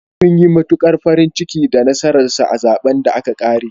Sun yi matuƙar farin ciki da nasarar sa a zaɓen da aka ƙare.